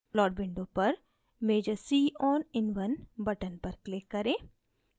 plot window पर measure c on in1 button पर click करें